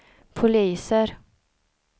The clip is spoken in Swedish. poliser